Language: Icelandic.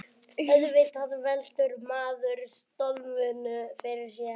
Auðvitað veltir maður stöðunni fyrir sér